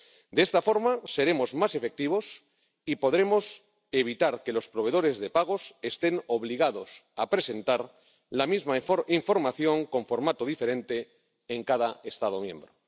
De esta forma, seremos más efectivos y podremos evitar que los proveedores de pagos estén obligados a presentar la misma información con formato diferente en cada Estado miembro.